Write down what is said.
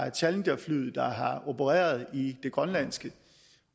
et challengerfly har opereret i det grønlandske